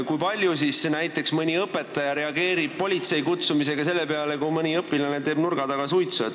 Kui tihti reageerib näiteks mõni õpetaja politsei kutsumisega selle peale, kui mõni õpilane teeb nurga taga suitsu?